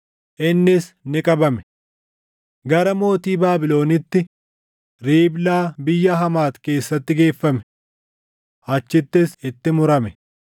innis ni qabame. Gara mootii Baabilonitti Riiblaa biyya Hamaati keessaatti geeffame. Achittis itti murame.